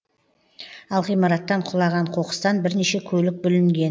ал ғимараттан құлаған қоқыстан бірнеше көлік бүлінген